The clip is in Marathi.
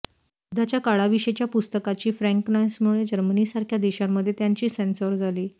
युद्धाच्या काळाविषयीच्या पुस्तकाची फ्रँकनेसमुळे जर्मनीसारख्या देशांमध्ये त्याची सेन्सॉर झाली